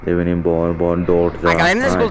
ebeni bor bor dorja aye.